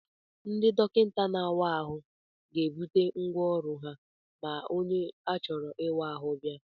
Ndị dọkịta na-awa ahụ ga-ebuputa ngwa ọrụ ha ma onye a chọrọ ịwa ahụ bịa.